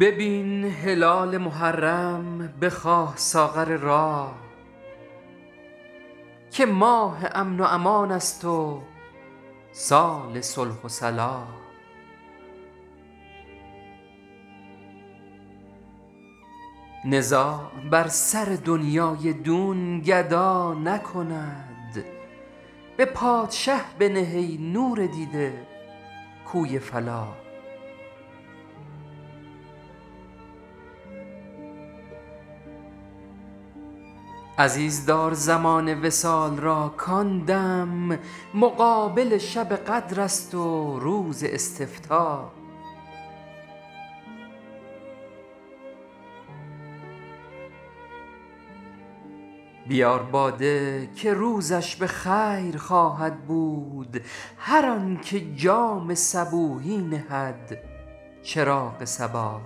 ببین هلال محرم بخواه ساغر راح که ماه امن و امان است و سال صلح و صلاح نزاع بر سر دنیای دون گدا نکند به پادشه بنه ای نور دیده کوی فلاح عزیز دار زمان وصال را کـ آن دم مقابل شب قدر است و روز استفتاح بیار باده که روزش به خیر خواهد بود هر آن که جام صبوحی نهد چراغ صباح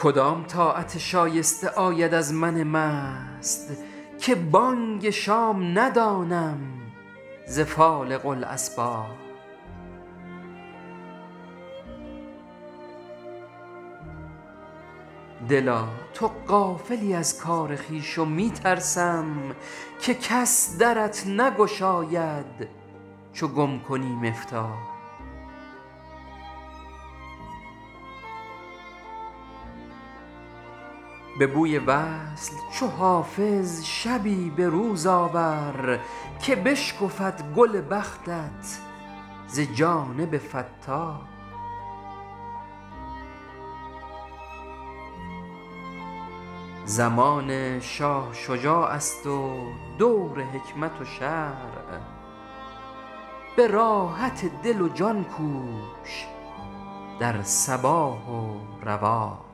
کدام طاعت شایسته آید از من مست که بانگ شام ندانم ز فالق الاصباح دلا تو غافلی از کار خویش و می ترسم که کس درت نگشاید چو گم کنی مفتاح به بوی وصل چو حافظ شبی به روز آور که بشکفد گل بختت ز جانب فتاح زمان شاه شجاع است و دور حکمت و شرع به راحت دل و جان کوش در صباح و رواح